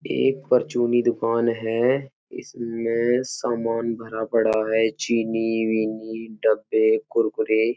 एक परचूनी दुकान है। इसमें सामान भरा पड़ा है चीनी विनी डब्बे कुरकुरे।